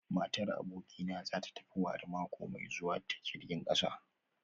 Matar abokina za ta tafi wari mako mai zuwa ta jirgin kasa